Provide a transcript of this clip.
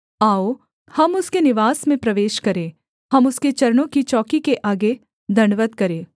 आओ हम उसके निवास में प्रवेश करें हम उसके चरणों की चौकी के आगे दण्डवत् करें